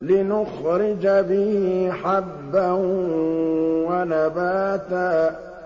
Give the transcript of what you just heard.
لِّنُخْرِجَ بِهِ حَبًّا وَنَبَاتًا